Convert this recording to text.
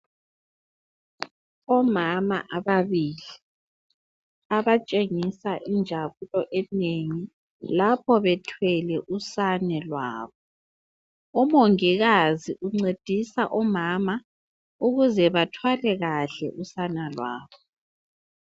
Omama ababili abatshengisa injabulo enengi lapho bethwele usane lwabo, umongikazi uncedisa umama ukuze bathwale kahle usana lwabo.